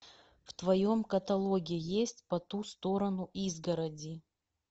в твоем каталоге есть по ту сторону изгороди